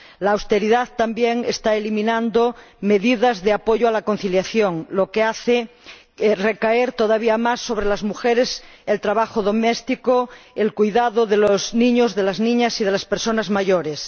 La austeridad también está eliminando medidas de apoyo a la conciliación, lo que hace recaer todavía más sobre las mujeres el trabajo doméstico, el cuidado de los niños, de las niñas y de las personas mayores.